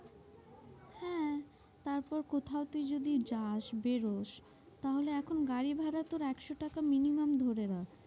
তারপর কোথায় তুই যদি যাস বেরোশ, তাহলে এখন গাড়ি ভাড়া তোর একশো টাকা minimum ধরে রাখ,